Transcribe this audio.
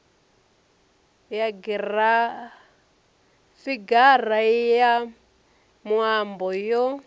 ya figara ya muambo yo